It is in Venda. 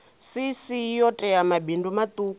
cc yo tea mabindu maṱuku